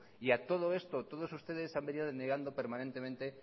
y a todo esto todos ustedes se han venido negando permanentemente